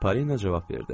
Parina cavab verdi.